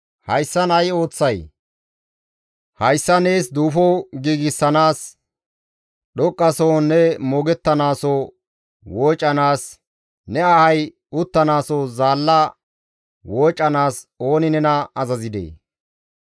Hayssan ay ooththay? Hayssa nees duufo giigsanaas, dhoqqasohon ne moogettanaaso woocanaas, ne ahay uttanaaso zaalla woocanaas ooni nena azazidee?